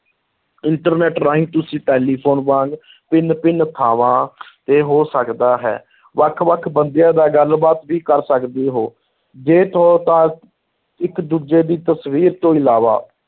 Internet ਰਾਹੀਂ ਤੁਸੀਂ telephone ਵਾਂਗ ਭਿੰਨ-ਭਿੰਨ ਥਾਂਵਾਂ ਤੇ ਹੋ ਸਕਦਾ ਹੈ, ਵੱਖ-ਵੱਖ ਬੰਦਿਆਂ ਨਾਲ ਗੱਲ-ਬਾਤ ਵੀ ਕਰ ਸਕਦੇ ਹੋ ਇੱਕ ਦੂਜੇ ਦੀ ਤਸਵੀਰ ਤੋਂ ਇਲਾਵਾ